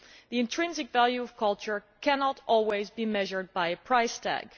The intrinsic value of culture cannot always be measured by a price tag.